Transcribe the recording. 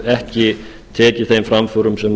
ekki tekið þeim framförum sem